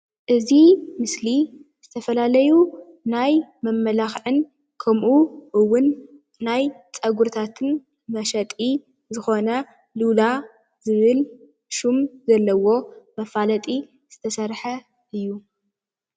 ኣብዚ ምስሊ ናይ ዝተፈላለዩ ናይ መመላካክዕን ከምኡ ፀጉሪታት መሸጢ ዝኮነ ሁማን ዝብል መፈላጢ ዝተሰረሐ እዩ ፡፡